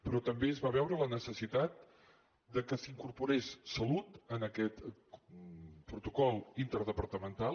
però també es va veure la necessitat que s’hi incorporés salut en aquest protocol interdepartamental